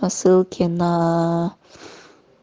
посылки на